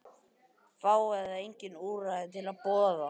Fá eða engin úrræði til boða